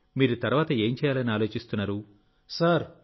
కాబట్టి మీరు తర్వాత ఏం చేయాలని ఆలోచిస్తున్నారు